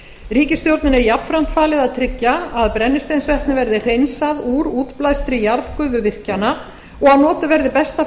ríkisstjórninni er jafnframt falið að tryggja að brennisteinsvetni verði hreinsað úr útblæstri jarðgufuvirkjana og að notuð verði besta